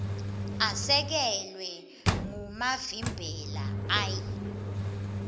asekelwa ngumavimbela l